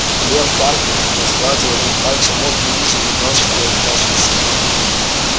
лем тарки разгладил одним пальцем модный узел на галстуке и откашлялся